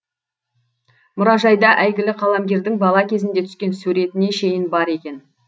мұражайда әйгілі қаламгердің бала кезінде түскен суретіне шейін бар екен